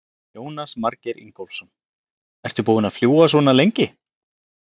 Jónas Margeir Ingólfsson: Ertu búin að fljúga svona lengi?